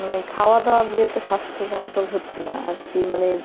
মানে খাওয়া দাওয়া দিয়েতো স্বাস্থ্য control হচ্ছে না আর কি মানে